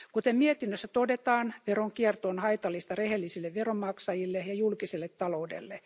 Kuten mietinnössä todetaan, veronkierto on haitallista rehellisille veronmaksajille ja julkiselle taloudelle.